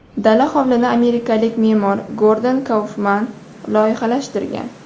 Dala hovlini amerikalik me’mor Gordon Kaufman loyihalashtirgan.